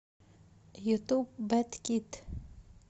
ютуб бэд кид